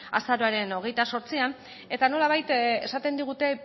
azaroaren hogeita zortzian eta nolabait esaten digute